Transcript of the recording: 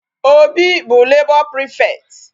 Obi bụ labor prefect.